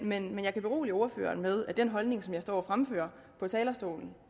men jeg kan berolige ordføreren med at den holdning som jeg står og fremfører fra talerstolen